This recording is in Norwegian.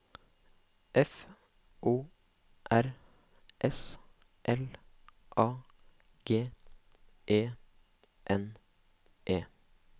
F O R S L A G E N E